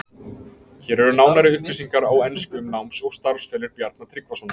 Hér eru nánari upplýsingar á ensku um náms- og starfsferil Bjarna Tryggvasonar.